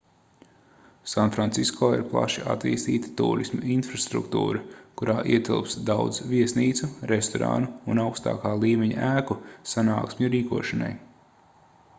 sanfrancisko ir plaši attīstīta tūrisma infrastruktūra kurā ietilpst daudz viesnīcu restorānu un augstākā līmeņa ēku sanāksmju rīkošanai